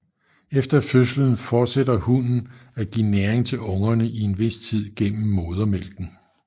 Efter fødslen fortsætter hunnen at give næring til ungerne i en vis tid gennem modermælken